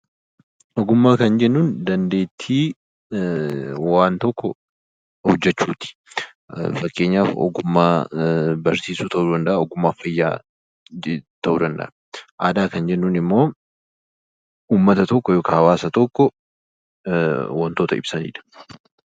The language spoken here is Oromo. Ogummaa kan jennuun dandeettii waan tokko hojjechuuti. Fakkeenyaaf ogummaa barsiisuu ta'uu danda'a, ogummaa fayyaa ta'uu danda'a. Aadaa kan jennuun immoo uummata tokko yookaan hawaasa tokko waantota ibsamudha.